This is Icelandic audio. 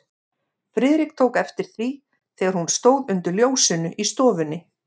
Friðrik tók eftir því, þegar hún stóð undir ljósinu í stofunni.